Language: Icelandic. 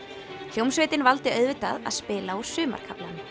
hljómsveitin valdi auðvitað að spila úr Sumarkaflanum